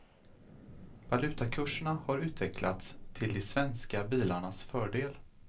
Valutakurserna har utvecklats till de svenska bilarnas fördel.